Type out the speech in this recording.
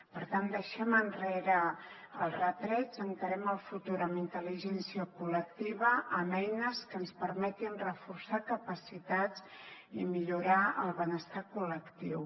per tant deixem enrere els retrets encarem el futur amb intel·ligència col·lectiva amb eines que ens permetin reforçar capacitats i millorar el benestar col·lectiu